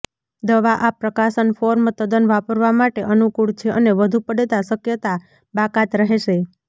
દવા આ પ્રકાશન ફોર્મ તદ્દન વાપરવા માટે અનુકૂળ છે અને વધુ પડતા શક્યતા બાકાત રહેશે